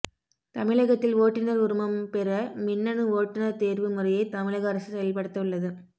தமிழகத்தில் ஓட்டுநர் உரிமம் பெற மின்னனு ஓட்டுநர் தேர்வு முறையை தமிழக அரசு செயல்படுத்த உள்ளது